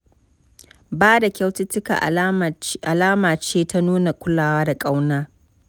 Ba da kyaututtuka alama ce ta nuna kulawa da ƙauna.